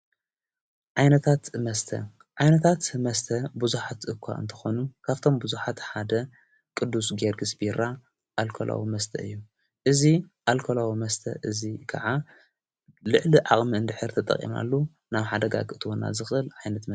ዓይነታትመስተ ዓይነታት መስተ ብዙኃት እኳ እንተኾኑ ካብቶም ብዙኃት ሓደ ቅዱስ ጌዮርግሥቢራ ኣልኮላዎ መስተ እዩ እዙይ ኣልኮላዊ መስተ እዙይ ከዓ ልዕሊ ዓቕሚ እንድኅር ተጠቕምሉ ናብ ሓደጋ እትወናከ ዝኽል ኣይነት።